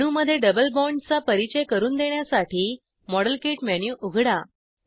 रेणूमध्ये double बॉण्डचा परिचय करून देण्यासाठी मॉडेल किट मेनू उघडा